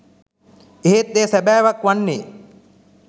එහෙත් එය සැබෑවක්‌ වන්නේ